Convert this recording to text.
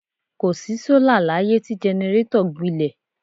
Kò sí sọ́là láyé tí jẹnẹrétọ̀ gbilẹ̀.